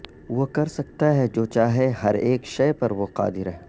وہ کرسکتا ہے جو چاہے ہر اک شے پر وہ قادر ہے